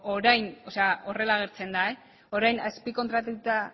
horrela agertzen da orain azpikontratatuta